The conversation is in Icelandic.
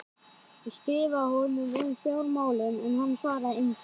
Ég skrifaði honum um fjármálin en hann svaraði engu.